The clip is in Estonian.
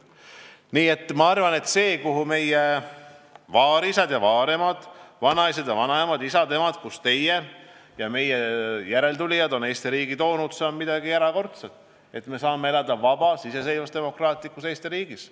Nii et ma arvan, et see, et meie vaarisad ja vaaremad, vanaisad ja vanaemad, isad ja emad on meie Eesti riigi toonud siia, kus me oleme, ning seda jätkavad teie ja meie järeltulijad, on midagi erakordset: me saame elada vabas, iseseisvas ja demokraatlikus Eesti riigis.